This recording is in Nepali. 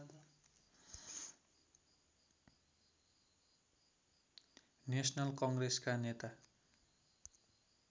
नेसनल कङ्ग्रेसका नेता